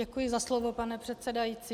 Děkuji za slovo, pane předsedající.